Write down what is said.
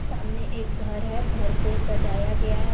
सामने एक घर है घर को सजाया गया है|